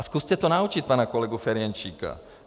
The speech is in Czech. A zkuste to naučit pana kolegu Ferjenčíka.